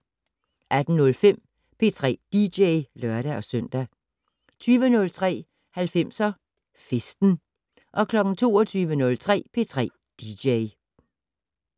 18:05: P3 dj (lør-søn) 20:03: 90'er Festen 22:03: P3 dj